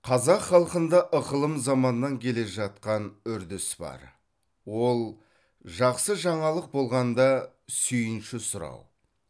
қазақ халқында ықылым заманнан келе жатқан үрдіс бар ол жақсы жаңалық болғанда сүйінші сұрау